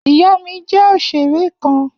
Iya mi jẹ oṣere kan.